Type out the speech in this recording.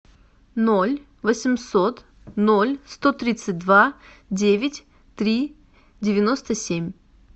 ноль восемьсот ноль сто тридцать два девять три девяносто семь